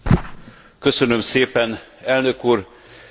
Tisztelt elnök úr, tisztelt képviselőtársaim!